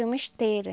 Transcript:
É uma esteira.